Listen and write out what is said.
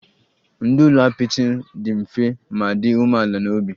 Ndụ n'ụlọ apịtị dị mfe ma dị umeala n'obi